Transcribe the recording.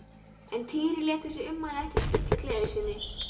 En Týri lét þessi ummæli ekki spilla gleði sinni.